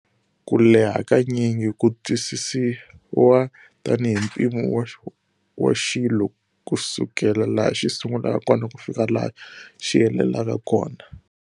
Kuleha hakanyingi ku twisisiwa tani hi mpimo wa waxilo kusukela laha xi sungulaka kona kufika laha xi helelaka kona.